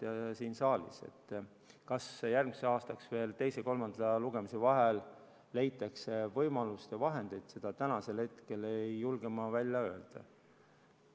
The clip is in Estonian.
Kas teise ja kolmanda lugemise vahel leitakse järgmiseks aastaks veel vahendeid, seda ma täna ei julge välja öelda.